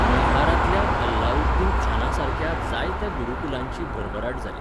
मैहारांतल्या अलाउद्दीनखानासारक्या जायत्या गुरूकुलांची भरभराट जाली.